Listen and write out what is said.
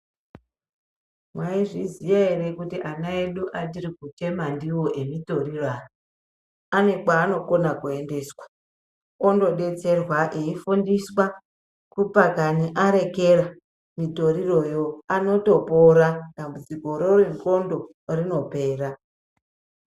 Mwaizviziya ere kuti ana edu atiri kuchema ndiwo emitoriro, aya ane kweanokona kuendeswa ondodetserwa, eifundiswa kupakani arekera mitoriro yo. Anotopora dambudzikoro rendxondo rinotopera.